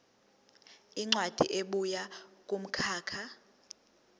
incwadi ebuya kumkhakha